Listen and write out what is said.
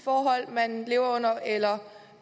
forhold man lever under eller